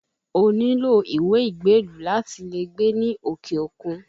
O nílò ìwé ìgbélú láti lè gbé ní òkè òkun